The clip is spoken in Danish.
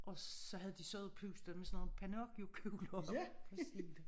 Og så havde de siddet og pustet med sådan nogen pinocchio kugler på scenen